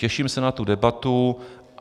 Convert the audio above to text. Těším se na tu debatu.